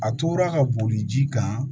A tora ka boli ji kan